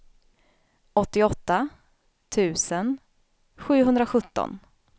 åttioåtta tusen sjuhundrasjutton